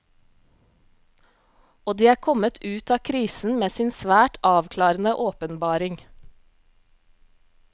Og de er kommet ut av krisen med sin svært avklarende åpenbaring.